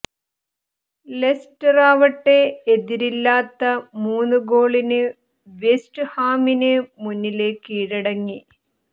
ലെസ്റ്ററാവട്ടെ എതിരില്ലാത്ത മുന്ന് ഗോളിന് വെസ്റ്റ് ഹാമിന് മുന്നില് കീഴടങ്ങി